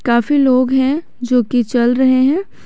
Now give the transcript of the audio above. काफी लोग हैं जो की चल रहे हैं।